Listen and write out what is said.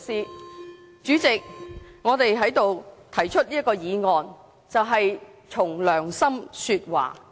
代理主席，我在此提出這項議案，便是憑良心說話。